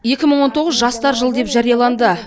екі мың он тоғыз жастар жылы деп жарияланды